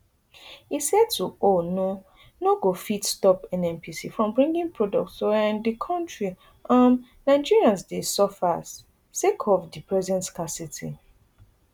e say to owe no no go fit stop nnpc from bringing products to um di kontri um nigerians dey suffers sake of di present scarcity